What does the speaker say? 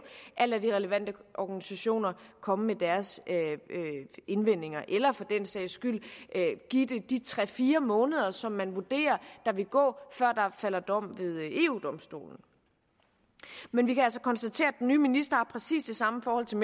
at lade de relevante organisationer komme med deres indvendinger eller for den sags skyld give det de tre fire måneder som man vurderer der vil gå før der falder dom ved eu domstolen men vi kan altså konstatere at den nye minister har præcis det samme forhold til